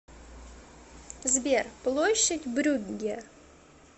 сбер площадь брюгге